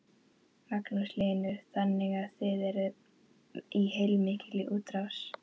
Magnús Hlynur: Þannig að þið eruð í heilmikilli útrás?